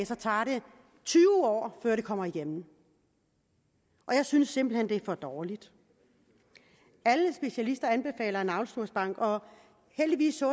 så tager det tyve år før det kommer igennem jeg synes simpelt hen det er for dårligt alle specialister anbefaler en navlesnorsbank og heldigvis så